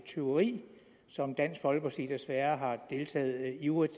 tyveri som dansk folkeparti desværre har deltaget ivrigt